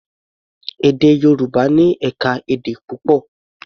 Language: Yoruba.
Èdè Yorùbá ní ẹ̀ka-èdè púpọ̀.